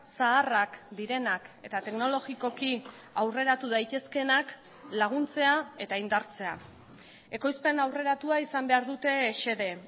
zaharrak direnak eta teknologikoki aurreratu daitezkeenak laguntzea eta indartzea ekoizpen aurreratua izan behar dute xede